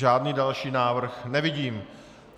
Žádný další návrh nevidím.